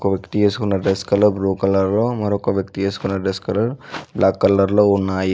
వ్యక్తి ఏసుకున్న dress colour blue colour లో మరొక్క వ్యక్తి ఏసుకున్న డ్రెస్ కలర్ బ్లాక్ కలర్ లో ఉన్నాయి.